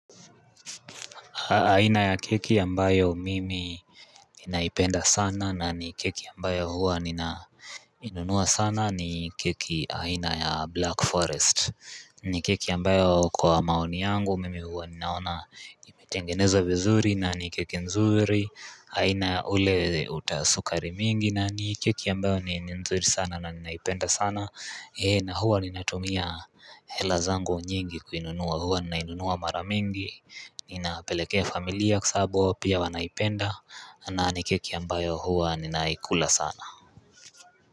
Aina ya keki ambayo mimi naipenda sana na ni keki ambayo huwa ninainunua sana ni keki aina ya blackforest ni keki ambayo kwa maoni yangu mimi huwa ninaona imetengenezwa vizuri na ni keki nzuri haina ule uta sukari mingi nani keki ambayo ni nzuri sana na ninaipenda sana na huwa ninatumia hela zangu nyingi kuinunua huwa ninainunua mara mingi ninapelekea familia kwa sababu pia wanaipenda na ni keki ambayo huwa ninaikula sana.